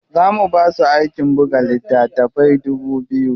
Za mu basu aikin buga littatafai dubu biyu.